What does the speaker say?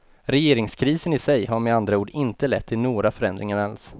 Regeringskrisen i sig har med andra ord inte lett till några förändringar alls.